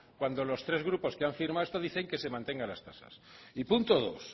cuando los tres grupos que han firmado esto dicen que se mantengan las tasas y punto dos